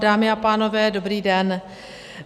Dámy a pánové, dobrý den.